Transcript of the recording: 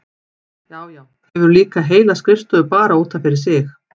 Já, já, hefur líka heila skrifstofu bara út af fyrir sig!